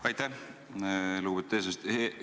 Aitäh, lugupeetud eesistuja!